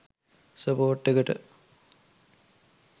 Support එකට.